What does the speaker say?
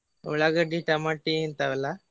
ಉಳ್ಳಾಗಡ್ಡಿ, ಟಮಟಿ ಇಂತಾವ್ ಎಲ್ಲಾ.